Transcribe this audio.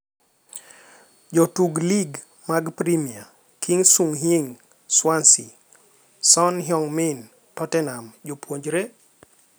Jotug Lig mar Premia: Ki Sung-yueng (Swansea), Son Heung-min (Tottenham) Japuonjere?